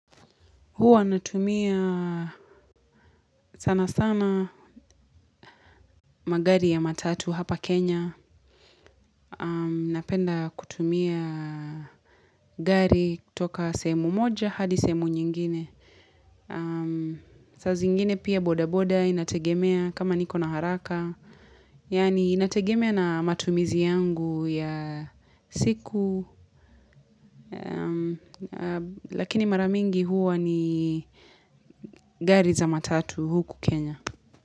Huwa natumia sana sana magari ya matatu hapa Kenya. Napenda kutumia gari kutoka sehemu moja hadi sehemu nyingine. Saa zingine pia boda boda inategemea kama niko na haraka. Yani inategemea na matumizi yangu ya siku. Lakini mara mingi huwa ni gari za matatu huku Kenya.